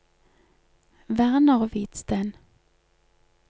Werner Hvidsten